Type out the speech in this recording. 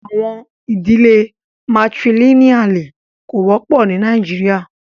Àwọn idílẹ̀ Matrilineali kò wọpọ ní Nàìjíríà.